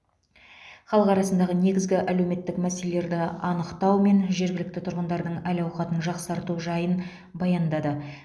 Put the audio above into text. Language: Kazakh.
халық арасындағы негізгі әлеуметтік мәселелерді анықтау мен жергілікті тұрғындардың әл ауқатын жақсарту жайын баяндады